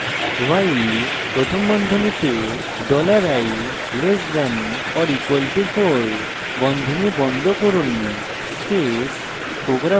while প্রথম বন্ধনীতে dollar i less than or equal to 4 বন্ধনী বন্ধ করুন space